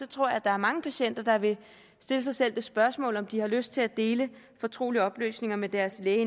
tror jeg der er mange patienter der vil stille sig selv det spørgsmål om de har lyst til at dele fortrolige oplysninger med deres læge